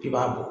I b'a bɔ